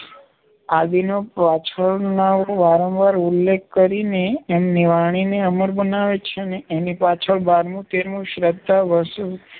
આદિનો પાછળનાંઓ વારંવાર ઉલ્લેખ કરીને એની વાણીને અમર બનાવે છે ને એની પાછળ બારમું, તેરમું, શ્રાદ્ધ, વરસી